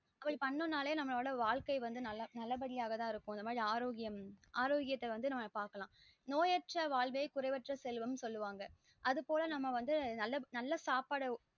இப்போ அத பண்ணோம் நாளே நமளோட வாழ்க்கை நல்ல படிய இருக்கும் இந்த மாறி ஆரோக்கியம் ஆரோக்கியத பாக்கலாம் நோயற்ற வாழ்வே குறைவற்ற செல்வம் னு சொளுவங்க அது போல நல்ல சாப்பாடு